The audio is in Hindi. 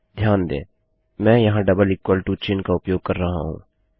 ध्यान दें मैं यहाँ डबल इक्वल टू चिन्ह का उपयोग कर रहा हूँ